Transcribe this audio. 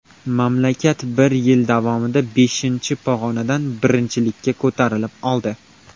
Mamlakat bir yil davomida beshinchi pog‘onadan birinchilikka ko‘tarilib oldi.